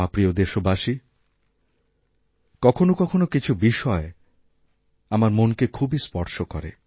আমার প্রিয় দেশবাসী কখনও কখনও কিছু বিষয় আমার মনকে খুবইস্পর্শ করে